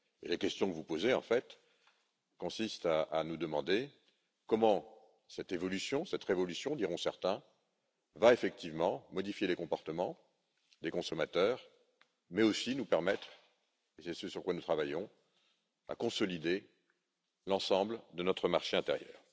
La question que vous posez, en fait, consiste à nous demander comment cette évolution cette révolution, diront certains va effectivement modifier les comportements des consommateurs, mais aussi nous permettre, c'est ce sur quoi nous travaillons de consolider l'ensemble de notre marché intérieur.